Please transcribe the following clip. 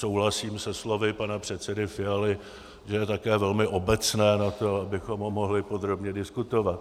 Souhlasím se slovy pana předsedy Fialy, že je také velmi obecné na to, abychom ho mohli podrobně diskutovat.